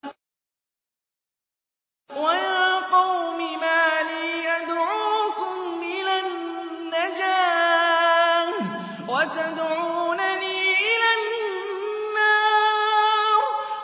۞ وَيَا قَوْمِ مَا لِي أَدْعُوكُمْ إِلَى النَّجَاةِ وَتَدْعُونَنِي إِلَى النَّارِ